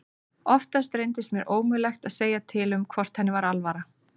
Oftast reyndist mér ómögulegt að segja til um hvort henni var alvara.